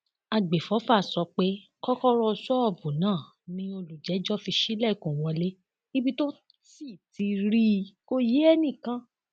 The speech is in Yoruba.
àgbẹfọfà sọ pé kọkọrọ ṣọọbù náà ni olùjẹjọ fi ṣílẹkùn wọlé ibi tó sì ti rí i kó yé enìkan